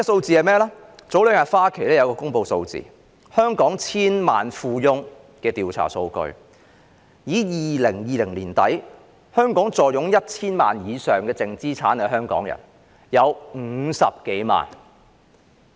前兩天，花旗銀行公布了香港千萬富翁的調查數據，指在2020年年底坐擁 1,000 萬元以上淨資產的香港人有50多萬。